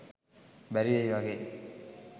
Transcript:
බැරිවෙයි වගේ.